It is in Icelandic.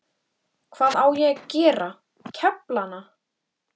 Hvað á ég að gera, kefla hana?